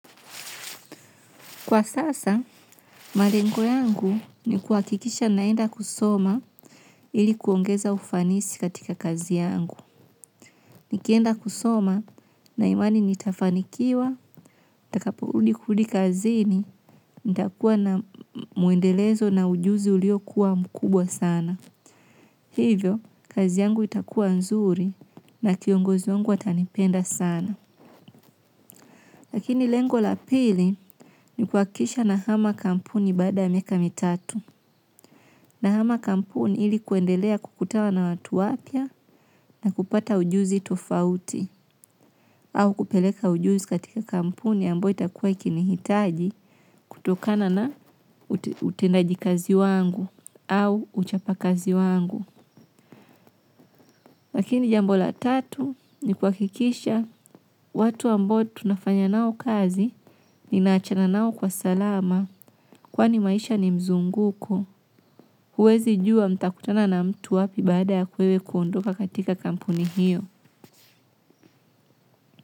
Kwa sasa, malengo yangu ni kuakikisha naenda kusoma ili kuongeza ufanisi katika kazi yangu. Nikienda kusoma na imani nitafanikiwa, ntakaporudi kurudi kazini, nita kuwa na muendelezo na ujuzi ulio kuwa mkubwa sana. Hivyo, kazi yangu itakuwa nzuri na kiongozi wangu atanipenda sana. Lakini lengo lapili ni kuakisha nahama kampuni baada miaka mitatu. Nahama kampuni ili kuendelea kukutana na watu wapya na kupata ujuzi tofauti au kupeleka ujuzi katika kampuni ambao itakuwa ikinihitaji kutokana na utendaji kazi wangu au uchapa kazi wangu. Lakini jambo la tatu ni kuwakikisha watu ambao tunafanya nao kazi ninaachana nao kwa salama kwani maisha ni mzunguko. Huwezi jua mtakutana na mtu wapi baada yako wewe kuondoka katika kampuni hiyo.